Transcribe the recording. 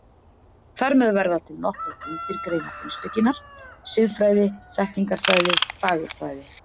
Þar með verða til nokkrar undirgreinar heimspekinnar: Siðfræði, þekkingarfræði, fagurfræði.